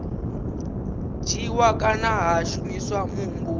dzhiiwa kana ha shumiswa muhumbulo